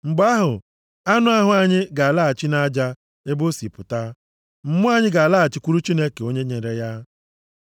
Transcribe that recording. Mgbe ahụ, anụ ahụ anyị ga-alaghachi nʼaja ebe o si pụta; + 12:7 \+xt Jen 3:19; Job 34:15; Abụ 90:3\+xt* mmụọ + 12:7 \+xt Ekl 3:21\+xt* anyị ga-alaghachikwuru Chineke onye nyere ya.